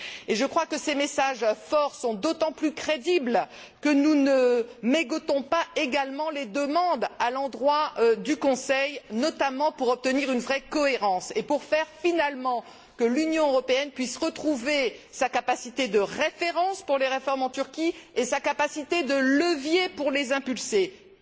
Je crois que ces messages forts sont d'autant plus crédibles que nous ne mégotons pas non plus quant aux demandes à l'endroit du Conseil, notamment pour obtenir une vraie cohérence et pour que, finalement, l'Union européenne puisse retrouver sa capacité de référence pour les réformes en Turquie, et sa capacité de levier pour les promouvoir.